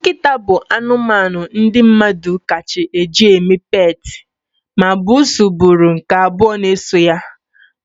Nkịta bụ anụmanụ ndị mmadụ kacha eji eme peetị, ma bussu bụrụ nke abụọ na eso ya,